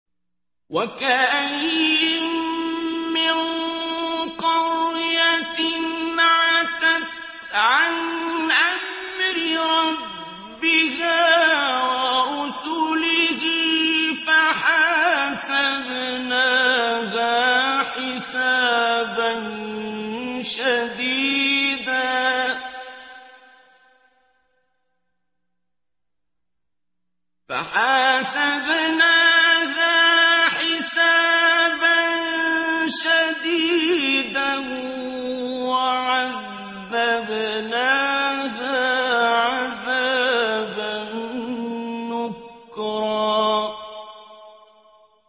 وَكَأَيِّن مِّن قَرْيَةٍ عَتَتْ عَنْ أَمْرِ رَبِّهَا وَرُسُلِهِ فَحَاسَبْنَاهَا حِسَابًا شَدِيدًا وَعَذَّبْنَاهَا عَذَابًا نُّكْرًا